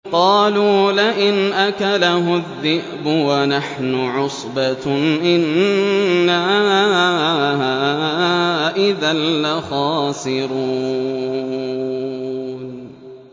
قَالُوا لَئِنْ أَكَلَهُ الذِّئْبُ وَنَحْنُ عُصْبَةٌ إِنَّا إِذًا لَّخَاسِرُونَ